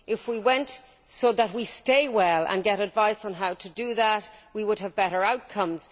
If we went to a doctor in order to stay well and get advice on how to do that, we would have better outcomes.